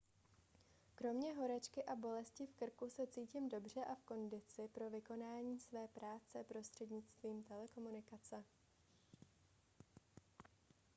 kromě horečky a bolesti v krku se cítím dobře a v kondici pro vykonávání své práce prostřednictvím telekomunikace